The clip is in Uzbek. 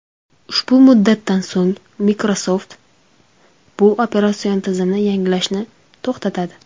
Ushbu muddatdan so‘ng, Microsoft bu operatsion tizimni yangilashni to‘xtatadi.